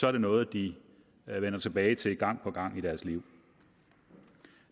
er noget de vender tilbage til gang på gang i deres liv